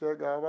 Chegava.